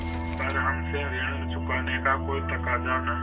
पर हमसे ऋण चुकाने का कोई तकाजा न